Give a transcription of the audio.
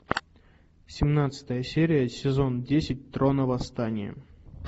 семнадцатая серия сезон десять трона восстание